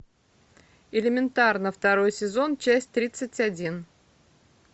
элементарно второй сезон часть тридцать один